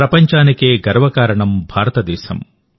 ప్రపంచానికే గర్వకారణం భారతదేశం